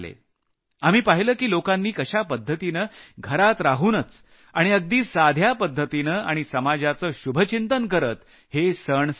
आपण पाहिलं की लोकांनी कशा पद्धतीनं घरात राहूनच आणि अगदी साध्या पद्घतीनं आणि समाजाचं शुभचिंतन करत हे सण साजरे केले